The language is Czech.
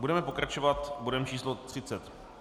Budeme pokračovat bodem číslo